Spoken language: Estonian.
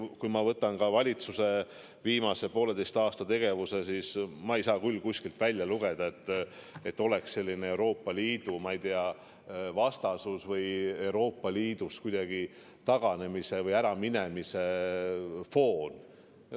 Kui ma võtan ka valitsuse viimase pooleteise aasta tegevuse, siis ma ei saa küll kuskilt välja lugeda, et oleks selline Euroopa Liidu vastasus või mingi Euroopa Liidust taganemise või äraminemise foon.